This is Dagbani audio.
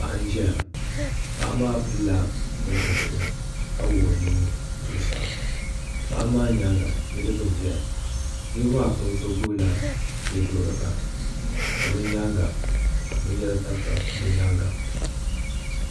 Paɣa n ʒɛya paɣa maa pilila bini o zuɣu ni ka wuɣi o nuu zuɣusaa paɣa maa nyaanga niraba n ʒɛya niraba maa puuni so gbubila yɛduɣurigu ka bi nyaanga ka binyɛra tabitabi bi nyaanga